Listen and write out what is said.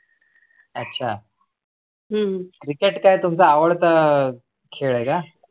अच्छा. Cricket तुमचा आवडता खेळ का?